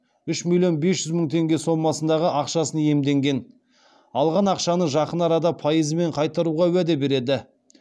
үш миллион бес жүз мың теңге сомасындағы ақшасын иемденген алған ақшаны жақын арада пайызымен қайтаруға уәде береді